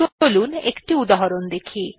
চলুন একটি উদাহরন দেখি